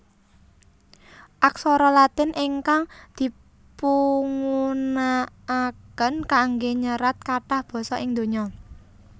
Aksara Latin ingkang dipungunakaken kanggé nyerat kathah basa ing donya